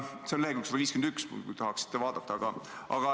See on leheküljel 151, kui tahate vaadata.